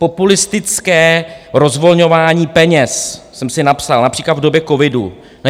Populistické rozvolňování peněz - jsem si napsal - například v době covidu.